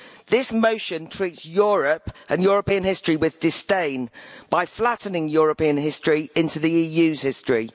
This motion treats Europe and European history with disdain by flattening European history into the EU's history.